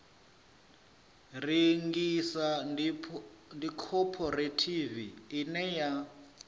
rengisa ndi khophorethivi ine ya